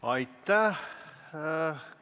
Aitäh!